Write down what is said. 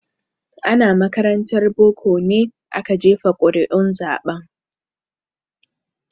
Ana makarantar boko ne aka jefa ƙuri'un zaben.